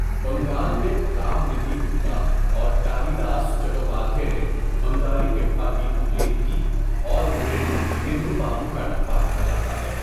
بنگال میں، رام ندھی گپتا اور کالی داس چٹوپادھے نے بنگالی ٹپّا کی تخلیق کی اور انہیں ندھو بابو کا ٹپّا کہا جاتا ہے۔